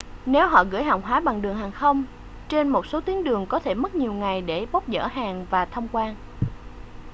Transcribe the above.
nếu họ gửi hàng hóa bằng đường hàng không trên một số tuyến đường có thể mất nhiều ngày để bốc dỡ hàng và thông quan